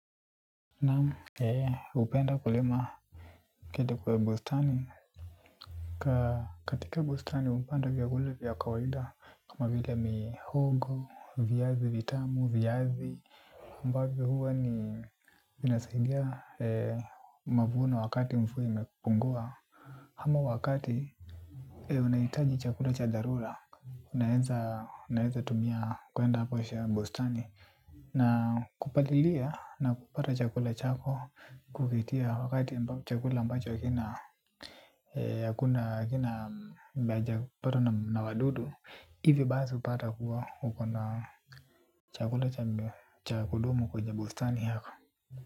Naamu, hupenda kulima kilimo ya bustani. Katika bustani hupanda vyakula vya kawaida. Kama vile mihogo, viazi vitamu, viazi ambavyo huwa ni vinasaidia mavuno wakati mvua imepungua ama wakati unahitaji chakula cha dharura. Unaweza tumia kwenda hapo bustani na kupatilia na kupata chakula chako kupitia wakati chakula ampacho hakina hakuna hakina hakijapatwa na wadudu hivi basi hupata kuwa uko na chakula cha kudumu kwenye bustani yako.